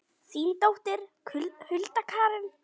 Þín dóttir, Hulda Karen.